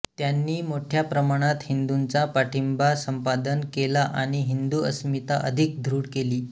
त्यांनी मोठ्याप्रमाणात हिंदूंचा पाठिंबा संपादन केला आणि हिंदू अस्मिता अधिक दृढ केली